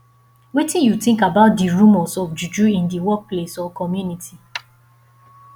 wetin you think about di remors of juju in di workplace or community